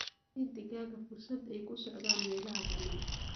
Sii digaaga fursad ay ku socdaan meelaha bannaan.